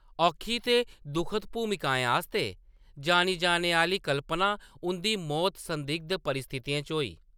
औखी ते दुखद भूमिकाएं आस्तै जानी जाने आह्‌‌‌ली कल्पना हुंदी मौत संदिग्ध परिस्थितियें च होई।